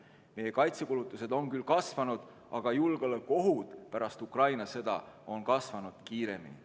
Meie kaitsekulutused on küll kasvanud, aga julgeolekuohud pärast Ukraina sõda on kasvanud kiiremini.